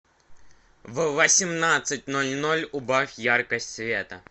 в восемнадцать ноль ноль убавь яркость света